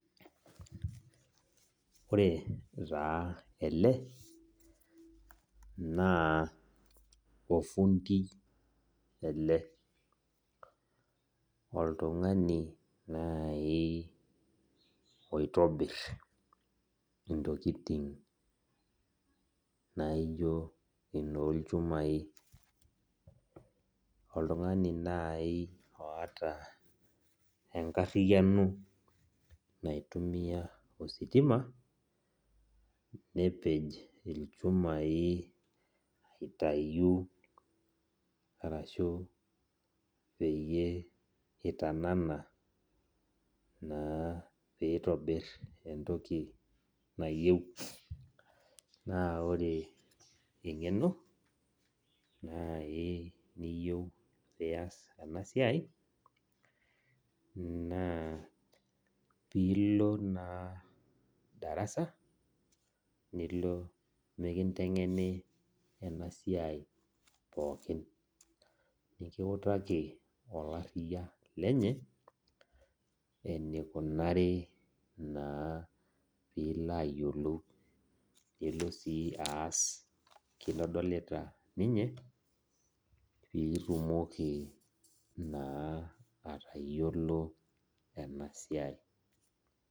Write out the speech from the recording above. Oretaa ele na ofundi ele oltungani nai oitobir ntokitin naijo inolchumai oltungani nai oata enkariano naitumia ositima nepej lchumai aitau arashu peyie itanana na pitobir entoki nayieu na ore engeno nai niyieu nias enasiai na pilo na darasa nilo nikitengeni enasiai pookin nilo nikintengeni olariya lenye enikunari na pilo ayiolou pilo aas kintadolita ninye pitumoki atayiolo enasiai .